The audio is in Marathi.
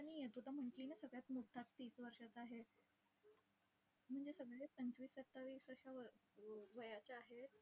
आणि तू आता म्हटली ना, सगळ्यात मोठा तीस वर्षाचा आहे. म्हणजे सगळेच पंचवीस-सत्तावीस अशा व वयाचे आहेत.